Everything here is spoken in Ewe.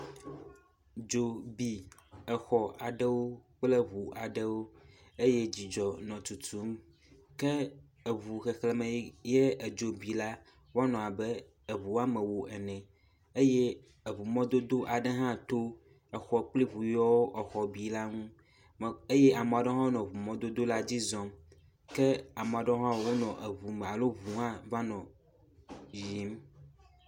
Dzo bi exɔ aɖewo kple ŋu aɖewo eye dzidzɔ nɔ tutum ke eŋu xexleme ye edzo bi la wonɔ abe eŋu wɔme ewo ene eye eŋumɔdodo aɖe hã to exɔ kpel eŋu yiwo exɔ bi la ŋu me eye ame aɖewo hã nɔ eŋumɔdodo la dzi zɔm ke ame aɖewo hã wonɔ eŋu me alo eŋu hã va nɔ yiyim.